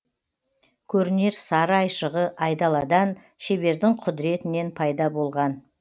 көрінер сары айшығы айдаладан шебердің құдіретінен пайда болған